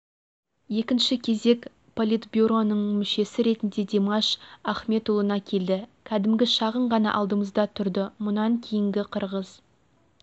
екінші кезек политбюроның мүшесі ретінде димаш ахметұлына келді кәдімгі шағын ғана алдымызда тұрды мұнан кейінгі қырғыз